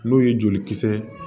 N'o ye jolikisɛ